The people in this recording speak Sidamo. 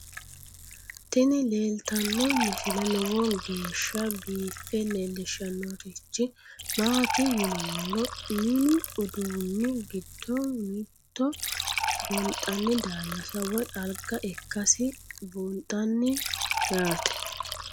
tini leeltanno misile lowo geeshsha biiffe leeellishshannorichi maati yinummoro mini uduunni giddo mitto gonxanni daallasa woy alga ikkasi buunxanni yaate